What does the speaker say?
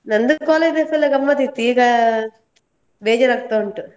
ನಂದು college life ಎಲ್ಲ ಗಮ್ಮತಿತ್ತು, ಈಗ ಬೇಜಾರ್ ಆಗ್ತಾ ಉಂಟು.